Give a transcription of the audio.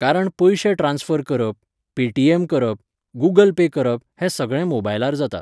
कारण पयशे ट्रान्सफर करप, पेटीएम करप, गुगल पे करप हें सगळें मोबायलार जाता.